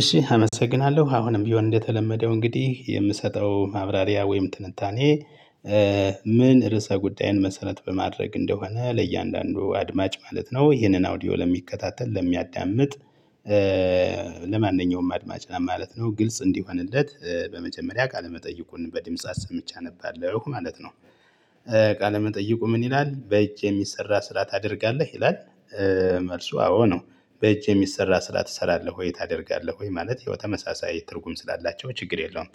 እሺ አመሰግናለሁ አሁንም ቢሆን እንደተለመደው እንግዲህ የምሰጠው ማብራሪያ ወይም ትንታኔ። ምን ርዕሰ ጉዳይን መሰረት በማድረግ እንደሆነ ለእያንዳንዱ አድማጭ ማለት ነው ይሄንን አውዲዮ ለሚከታተል ለሚያዳምጥ። ለማንኛውም አድማጭ ለማለት ነው ግልጽ እንዲሆንለት በመጀመሪያ ቃለመጠይቁን በደምጽ ሰምቻ እነባለሁ ማለት ነው። ቃለመጠይቁ ምን ይላል በእጅ የሚሰራ ስራ ታደርጋለህ ይላል? መልሱ አዎ ነው። በጅ የሚሰራ ስራ ትሰራለህ ወይ ታደርጋለህ ወይ ማለት ያው ተመሳሳይ ትርጉም ስላላቸው ችግር የለውም።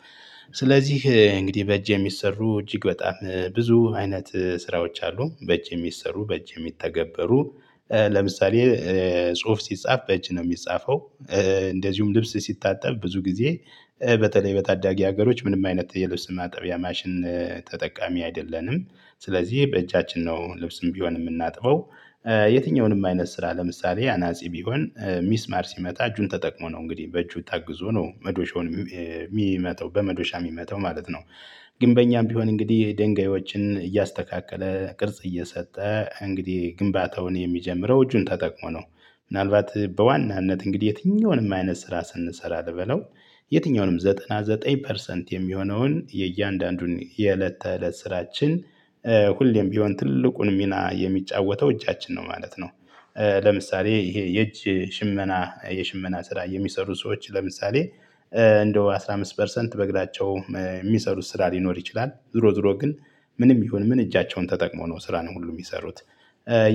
ስለዚህ እንግዲህ በእጅ የሚሰሩ እጅግ በጣም ብዙ አይነት ስራዎች አሉ በእጅ የሚሰሩ በእጅ የሚተገበሩ። ለምሳሌ ጽሁፍ ሲጻፍ በእጅ ነው የሚጻፈው። እንደዚሁም ልብስ ሲታጠብ ብዙ ጊዜ በተለይ በታዳጊ ሀገሮች ምንም አይነት የልብስ ማጠቢያ ማሽን ተጠቃሚ አይደለንም። ስለዚህ በእጃችን ነው ልብስም ቢሆን የምናጥበው። የትኛውንም አይነት ስራ ለምሳሌ አናጺ ቢሆን ሚስማር ሲመታ እጁን ተጠቅሞ ነው እንግዲህ በእጁ ታግዞ ነው መዶሻውን የሚመታው በመዶሻ የሚመተው ማለት ነው። ግን በእኛም ቢሆን እንግዲህ ድንጋዮችን እያስተካከለ ቅርጽ እየሰጠ እንግዲህ ግንባታውን የሚጀምረው እጁን ተጠቅሞ ነው። ምናልባት በዋናነት እንግዲህ የትኛውንም አይነት ስራ ስንሰራ ልበለው። የትኛውንም 99 ፐርሰንት የሚሆነውን የእያንዳንዱን የእለት ተእለት ስራችን ሁሌም ቢሆን ትልቁን ሚና የሚጫወተው እጃችን ነው ማለት ነው። ለምሳሌ ይሄ የእጅ ሽመና የሽመና ስራ የሚሰሩ ሰዎች ለምሳሌ እንደው 15 ፐርሰንት በግላቸው የሚሰሩት ስራ ሊኖር ይችላል ዝሮ ዝሮ ግን ምንም ይሁን ምን እጃቸውን ተጠቅሞ ነው ስራን ሁሉ የሚሰሩት።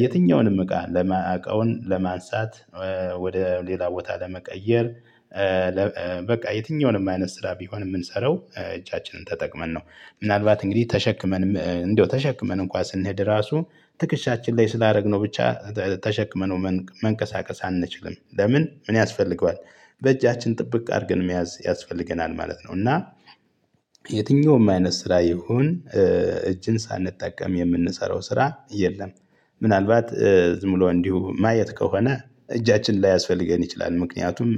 የትኛውንም እቃ ለማ እቃውን ለማንሳት ወደ ሌላ ቦታ ለመቀየር። በቃ የትኛውንም አይነት ስራ ቢሆን የምንሰራው እጃችንን ተጠቅመን ነው። ምናልባት እንግዲህ ተሸክመን እንደው ተሸክመን እንኳን ስንሄድ ራሱ ትክሻችን ላይ ስላደረግነው ብቻ ተሸክመነው መንቀሳቀስ አንችልም ለምን ምን ያስፈልገዋል? በእጃችን ጥብቅ አድርገን መያዝ ያስፈልገናል ማለት ነው። እና የትኛውም አይነት ስራ ይሁን እጅን ሳንጠቀም የምንሰራው ስራ የለም። ምናልባት ም ብሎ እንዲሁ ማየት ከሆነ እጃችን ላያስፈልገን ይችላል ምክንያቱም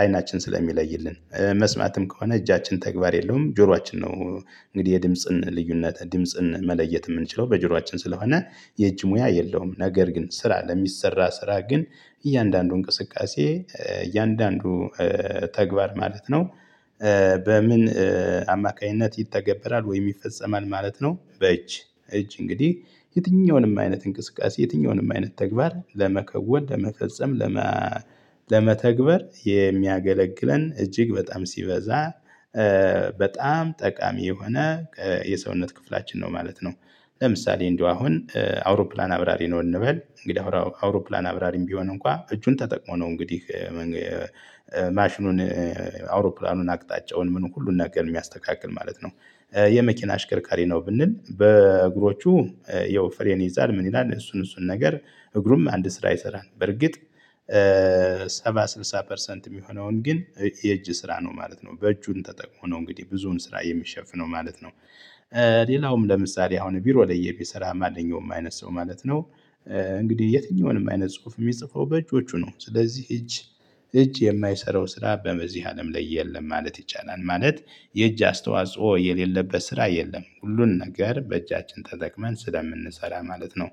አይናችን ስለሚለይልን። መስማትም ከሆነ እጃችን ተግባር የለውም ጆሯችን ነው እንግዲህ የድምጽን ልዩነት ድምጽን መለየት የምንችለው በጆሯችን ስለሆነ። የእጅ ሙያ የለውም ነገር ግን ስራ ለሚሰራ ስራ ግን እያንዳንዱ እንቅስቃሴ እያንዳንዱ ተግባር ማለት ነው። በምን አማካኝነት ይተገበራል ወይ ይፈጸማል ማለት ነው። በእጅ እጅ እንግዲህ የትኛውንም አይነት እንቅስቃሴ የትኛውንም አይነት ተግባር ለመከወን ለመፈጸም ለመ ለመተግበር የሚያገለግለን እጅግ በጣም ሲበዛ በጣም ጠቃሚ የሆነ የሰውነት ክፍላችን ነው ማለት ነው። ለምሳሌ እንደው አሁን አውሮፕላን አብራሪ ነው እንበል እንግዲህ አውሮፕላን አብራሪም ቢሆን እንኳን እጁን ተጠቅሞ ነው እንግዲህ ማሽኑን አውሮፕላኑን አቅጣጫውን ምን ሁሉን ነገር የሚያስተካክል ማለት ነው። የመኪና አሽከርካሪ ነው ብንል በእግሮቹ ያው ፍሬን ይይዛል ምን ይላል እሱን እሱን ነገር እግሩም አንድ ስራ ይሰራል። በርግጥ ሰባ ስልሳ ፐርሰንት የሚሆነውን ግን የእጅ ስራ ነው ማለት ነው በእጁን ተጠቅሞ ነው እንግዲህ ብዙውን ስራ የሚሸፍነው ማለት ነው። ሌላውም ለምሳሌ አሁን ቢሮ ላይ የሚሰራ ማንኛውም አይነት ሰው ማለት ነው። እንግዲህ የትኛውንም አይነት ጽሁፍ የሚጽፈው በእጆቹ ነው ስለዚህ እጅ እጅ የማይሰራው ስራ በመዚህ አለም ላይ የለም ማለት ይቻላል ማለት። የእጅ አስተዋጽኦ የሌለበት ስራ የለም ሁሉን ነገር በእጃችን ተጠቅመን ስለምንሰራ ማለት ነው።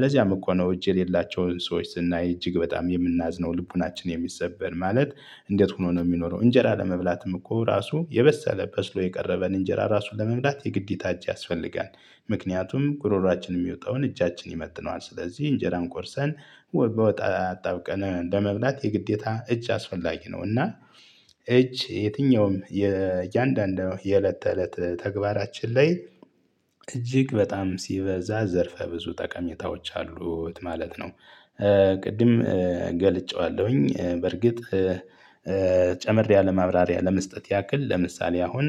ለዚያም እኮ ነው እጅ የሌላቸውን ሰዎች ስናይ እጅግ በጣም የምናዝነው ልቦናችን የሚሰበር ማለት እንዴት ሆኖ ነው የሚኖረው እንጀራ ለመብላትም እኮ ራሱ የበሰለ በስሎ የቀረበን እንጀራ ራሱን ለመብላት የግዴታ እጅ ያስፈልጋል። ምክንያቱም ጉሮሮአችን የሚወጣውን እጃችን ይመጥነዋል ስለዚህ እንጀራን ቆርሰን በወጥ አጣብቀን ለመብላት የግዴታ እጅ አስፈላጊ ነው። እና እጅ የትኛውም የእያንዳንዱ የእለት ተእለት ተግባራችን ላይ እጅግ በጣም ሲበዛ ዘርፈ ብዙ ጠቀሜታዎች አሉት ማለት ነው። ቅድም ገልጬዋለሁኝ በርግጥ ጨምሬ አለማብራሪ ለመስጠት ያክል ለምሳሌ አሁን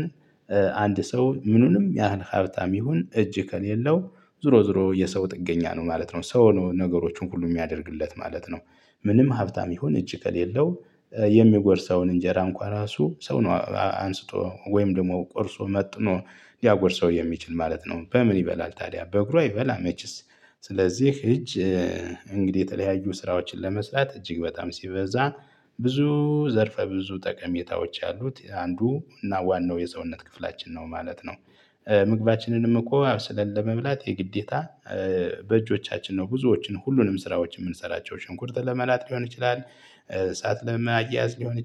አንድ ሰው ምኑንም ያህል ሀብታም ይሁን እጅ ከሌለው ዝሮ ዝሮ የሰው ጥገኛ ነው ማለት ነው ሰው ነው ነገሮችን ሁሉ የሚያደርግለት ማለት ነው። ምንም ሀብታም ይሁን እጅ ከሌለው የሚጎርሰውን እንጀራ እንኳን ራሱ ሰው ነው አንስቶ ወይም ደግሞ ቆርሶ መጥኖ ሊያጎርሰው የሚችል ማለት ነው። በምን ይበላል ታዲያ በእግሩ አይበላ መችስ? ስለዚህ እጅ እንግዲህ የተለያዩ ስራዎችን ለመስራት እጅግ በጣም ሲበዛ ብዙ ዘርፈ ብዙ ጠቀሜታዎች ያሉት አንዱ እና ዋናው የሰውነት ክፍላችን ነው ማለት ነው። ምግባችንንም እኮ አብስለን ለመብላት የግዴታ በእጆቻችን ነው ብዙዎችን ሁሉንም ስራዎችን የምንሰራቸው ሽንኩርት ለመላጥ ሊሆን ይችላል። እሳት ለማያያዝ ሊሆን